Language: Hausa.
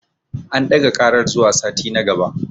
An ɗaga ƙarar zuwa sati na gaba.